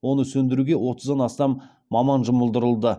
оны сөндіруге отыздан астам маман жұмылдырыды